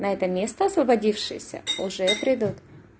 на это место освободившееся уже придут